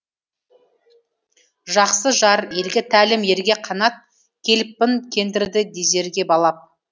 жақсы жар елге тәлім ерге қанат келіппін кендірді дезерге балап